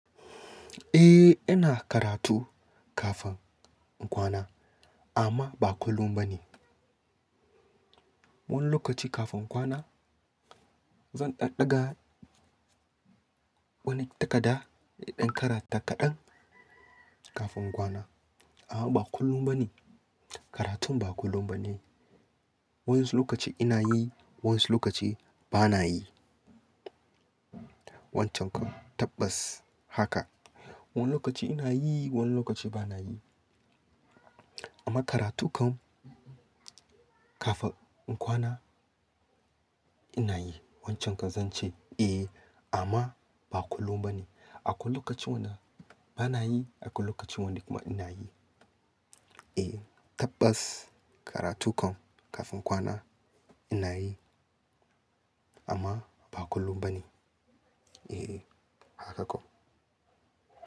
Eh, ina karatu kafin in kwana amma ba kullum ba ne. Wani lokaci kafin kwana zan ɗan ɗaga wani takada indan karata kaɗan kafin kwana. A'a, ba kullum ba ne. Karatun ba kullum ba ne. Wayansu lokaci ina yi, wayansu lokaci ba na yi. Wancan ka, tabbas haka. Wani lokaci ina yi, wani lokaci ba na yi. Amma karatun kan kafin in kwana ina yi. Wancan ka zan ce eh amma ba kullum ba ne. Akwai lokaci wanda ba na yi, akwai lokaci wanda kuma ina yi. Eh, tabbas karatun kan kafin kwana ina yi amma ba kullum ba ne. Eh, haka kawai.